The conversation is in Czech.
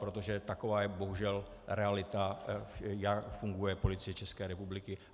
Protože taková je bohužel realita, jak funguje Policie České republiky.